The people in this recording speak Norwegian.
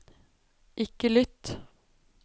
ikke lytt